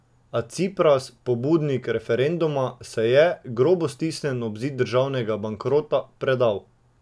A Cipras, pobudnik referenduma, se je, grobo stisnjen ob zid državnega bankrota, predal.